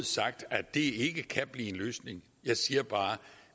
sagt at det ikke kan blive en løsning jeg siger bare at